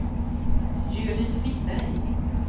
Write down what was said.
Hjördis Wiberg